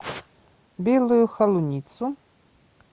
белую холуницу